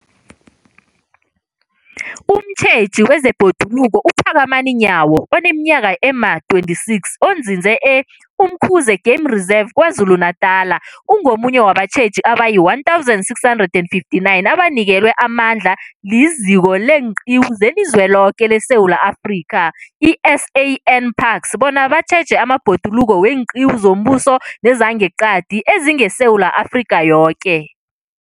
Umtjheji wezeBhoduluko uPhakamani Nyawo oneminyaka ema-26, onzinze e-Umkhuze Game Reserve KwaZulu-Natala, ungomunye wabatjheji abayi-1 659 abanikelwe amandla liZiko leenQiwu zeliZweloke leSewula Afrika, i-SANParks, bona batjheje amabhoduluko weenqiwu zombuso nezangeqadi ezingeSewula Afrika yoke.